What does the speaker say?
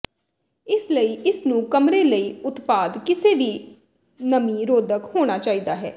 ਇਸ ਲਈ ਇਸ ਨੂੰ ਕਮਰੇ ਲਈ ਉਤਪਾਦ ਕਿਸੇ ਵੀ ਨਮੀ ਰੋਧਕ ਹੋਣਾ ਚਾਹੀਦਾ ਹੈ